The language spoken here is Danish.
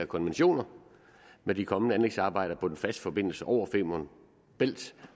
konventioner med de kommende anlægsarbejder på den faste forbindelse over femern bælt